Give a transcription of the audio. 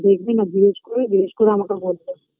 দেখবে না জিজ্ঞেস করে জিজ্ঞেস করে আমাকে বলবে